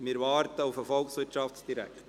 Wir warten auf den Volkswirtschaftsdirektor.